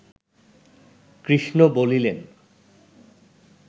কৃষ্ণ বলিলেন